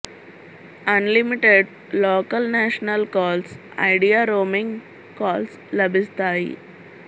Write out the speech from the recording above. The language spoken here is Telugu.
అన్ limited local national calls Idea roaming calls లభిస్తాయి